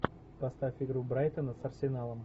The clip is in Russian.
поставь игру брайтона с арсеналом